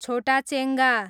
छोटाचेङ्गा